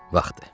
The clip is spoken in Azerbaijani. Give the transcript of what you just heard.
Vaxtdır.